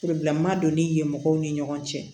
doni ye mɔgɔw ni ɲɔgɔn cɛ